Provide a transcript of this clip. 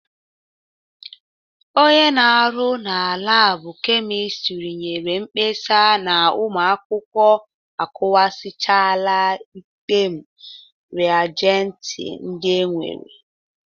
Onye na-arụ na labụ kemistri nyere mkpesa na ụmụ akwụkwọ akụwasịchala ekpem rịajenti ndị e nwere.